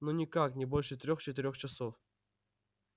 ну никак не больше трёх четырёх часов